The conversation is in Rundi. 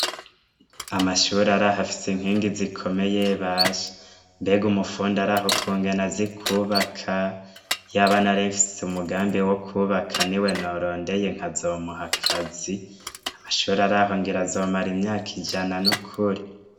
Amashuri araha afise inkingi zikomeye basha, mbega umufundi araho ukungene azi kubaka, yaba narimfise umugambi wo kubaka ni we norondeye nkazomuha akazi, amashuri ari aho ngira azomara imyaka ijana n'ukuri.